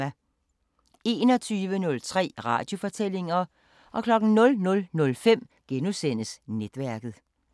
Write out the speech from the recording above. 21:03: Radiofortællinger 00:05: Netværket *